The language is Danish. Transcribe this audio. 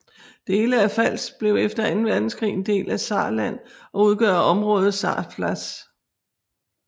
Dele af Pfalz blev efter anden verdenskrig en del af Saarland og udgør området Saarpfalz